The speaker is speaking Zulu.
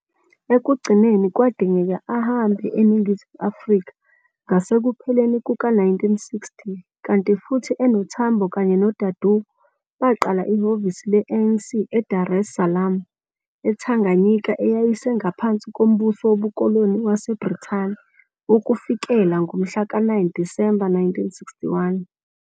Ekugcineni kwadingeka ahambe eNingizimu Afrika ngasekupheleni kuka-1960 kanti futhi enoTambo, kanye noDadoo, baqala ihhovisi le-ANC eDar es Salaam, eTanganyika eyayisengaphansi kombuso wobukoloni waseBrithani ukufikela ngomhla ka 9 Disemba 1961.